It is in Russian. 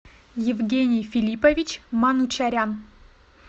евгений филиппович манучарян